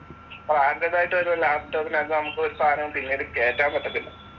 ബ്രാൻഡെഡായിട്ടുവരുന്ന ലാപ്ടോപ്പിനകത്ത് നമ്മക്കൊരു സാധനവും പിന്നീട് കേറ്റാൻ പറ്റത്തില്ല.